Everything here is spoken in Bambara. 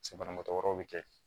Se banabagatɔ wɛrɛw bɛ kɛ yen